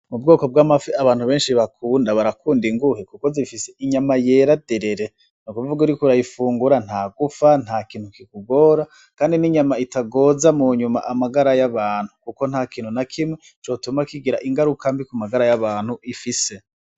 Mu bwoko bw'amafi abantu benshi bakunda barakunda inguhe, kuko zifise inyama yera derere no kuvuga uri kurayifungura nta gufa nta kintu kikugora, kandi n'inyama itagoza mu nyuma amagara y'abantu, kuko nta kintu na kimwe cotuma kigira ingarukambi ku magara y'abantu ifise.